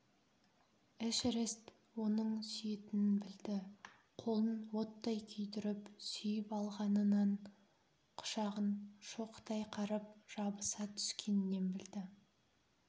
эшерест оның сүйетінін білді қолын оттай күйдіріп сүйіп алғанынан құшағын шоқтай қарып жабыса түскенінен білді